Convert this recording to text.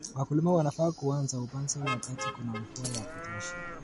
Wakulima wanafaa kuanza upanzi wakati kuna mvua ya kutosha